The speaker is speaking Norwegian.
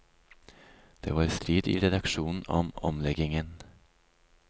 Det var strid i redaksjonen om omleggingen.